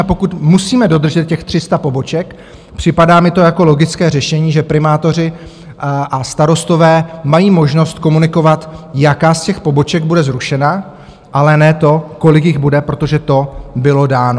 A pokud musíme dodržet těch 300 poboček, připadá mi to jako logické řešení, že primátoři a starostové mají možnost komunikovat, jaká z těch poboček bude zrušena, ale ne to, kolik jich bude, protože to bylo dáno.